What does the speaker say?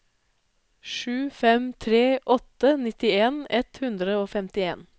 sju fem tre åtte nittien ett hundre og femtien